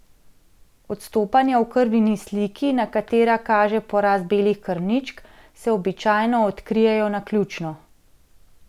Odstopanja v krvni sliki, na katera kaže porast belih krvničk, se običajno odkrijejo naključno.